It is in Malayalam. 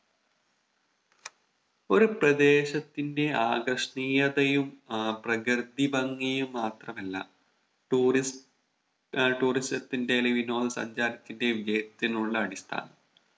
ഒരു പ്രദേശത്തിന്റെ ആകർഷണീയതയും ആഹ് പ്രകൃതി ഭംഗിയും മാത്രമല്ല Tourist ആഹ് Tourism ത്തിന്റെ അല്ലെങ്കിൽ വിനോദ സഞ്ചാരത്തിന്റെയും വിജയത്തിനുള്ള അടിസ്ഥാനം